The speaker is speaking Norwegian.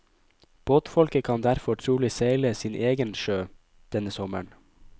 Båtfolket kan derfor trolig seile sin egen sjø denne sommeren.